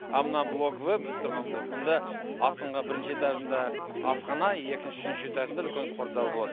а мына блок в біз тұрған блок мұнда астыңғы бірінші этажында асхана екінші үшінші этажында үлкен спортзал болады